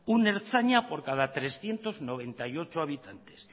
un ertzaina por cada trescientos noventa y ocho habitantes